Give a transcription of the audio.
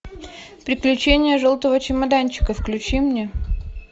приключения желтого чемоданчика включи мне